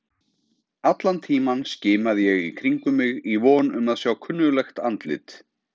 Allan tímann skimaði ég í kringum mig í von um að sjá kunnuglegt andlit.